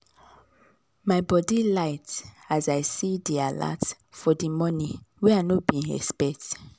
my body light as i see d alert for d money wen i no been expect